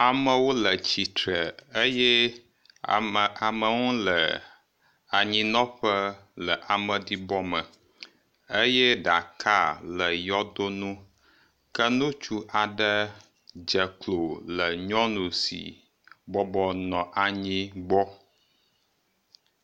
Amewo le titre eye amewo ha le anyinɔƒe le ameɖibɔ me eye ɖaka le yɔdo nu ke ŋutsu aɖe dze klo le nyɔnu si bɔbɔ nɔ anyi gbɔ